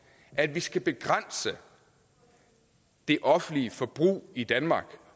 at vi skal begrænse det offentlige forbrug i danmark